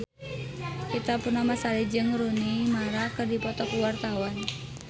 Ita Purnamasari jeung Rooney Mara keur dipoto ku wartawan